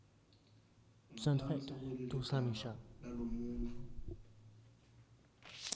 ngaphansi kwaleligama lalomuntfu